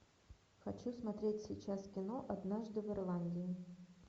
хочу смотреть сейчас кино однажды в ирландии